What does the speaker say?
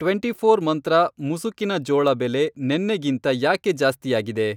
Twenty four Mantra ಮುಸುಕಿನ ಜೋಳ ಬೆಲೆ ನೆನ್ನೆಗಿಂತ ಯಾಕೆ ಜಾಸ್ತಿಯಾಗಿದೆ?